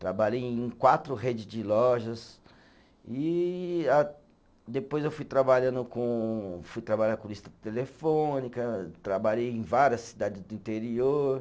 Trabalhei em quatro rede de lojas e ah, depois eu fui trabalhando com, fui trabalhar com lista telefônica, trabalhei em várias cidades do interior.